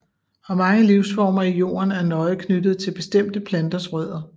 Og mange livsformer i jorden er nøje knyttet til bestemte planters rødder